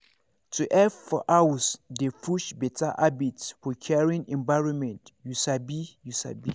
to help for house dey push better habit for caring environment you sabi you sabi